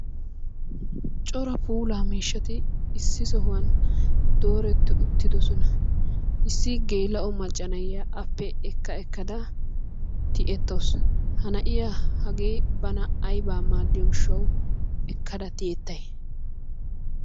Cora puulaa miishshati issi sohuwan dooretti uttidosona. Issi geela"o macca na"iya appe ekka ekkada tiyettawusu. Ha na"iya hagee bana aybaa maaddiyoo gishshawu ekkada tiyyettay?